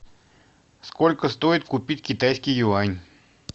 сколько стоит купить китайский юань